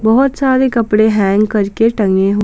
बहोत सारे कपड़े हैंग करके टंगे--